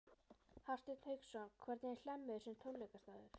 Hafsteinn Hauksson: Hvernig er Hlemmur sem tónleikastaður?